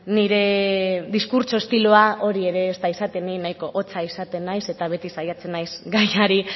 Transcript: nire diskurtso estiloa hori ere ez da izaten ni nahiko hotza izaten naiz eta beti saiatzen naiz gaiari